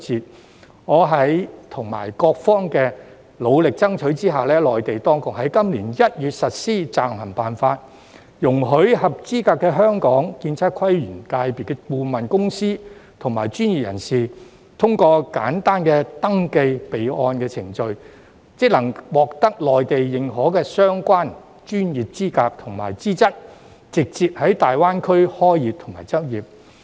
經過我和各方努力爭取，內地當局在今年1月實施《暫行辦法》，容許合資格的香港建測規園界顧問公司及專業人士，通過簡單的登記備案程序，即可獲得內地認可的相關專業資格和資質，直接在粵港澳大灣區開業和執業。